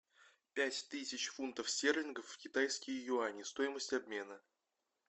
пять тысяч фунтов стерлингов в китайские юани стоимость обмена